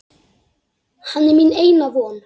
Hann er mín eina von.